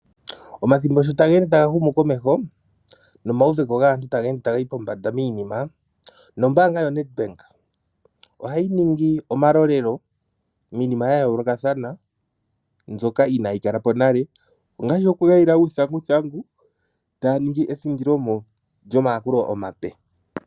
Omathimbo sho taga ende taga humukomeho nomauveko gaantu taga ende taga yi pombanda miinima nombaanga yoNedbank ohayi ningi omalolelo miinima ya yoolokathana mbyoka inayi kala po nale, ngaashi okukayila uuthanguthangu taya ningi ethindilomo lyomayakulo omape.